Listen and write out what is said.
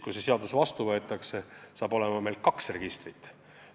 Kui see seadus vastu võetakse, saab olema kaks registrit.